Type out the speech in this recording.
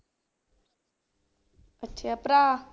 ਅੱਛਾ ਭਰਾ